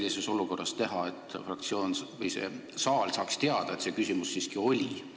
Mida sellises olukorras teha, et saal saaks teada, et see küsimus siiski kõne all oli?